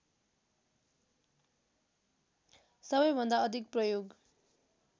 सबैभन्दा अधिक प्रयोग